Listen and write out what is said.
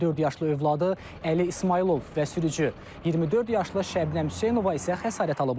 Dörd yaşlı övladı Əli İsmayılov və sürücü 24 yaşlı Şəbnəm Hüseynova isə xəsarət alıblar.